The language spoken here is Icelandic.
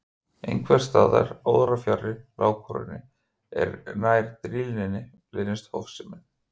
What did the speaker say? Einhvers staðar órafjarri lágkúrunni, en nær drýldninni, leynist hófsemin.